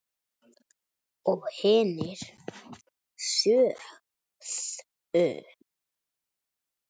Og hinir sögðu